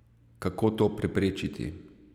Kako to preprečiti?